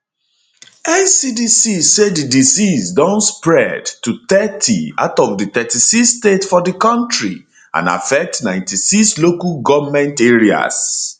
ncdc say di disease don spread to thirty out of di 36 states for di kontri and affect 96 local goment areas